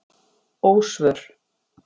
Ósvör